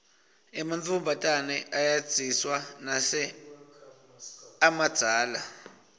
ematfombatane ayedziswa nase amadzala